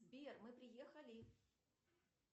сбер мы приехали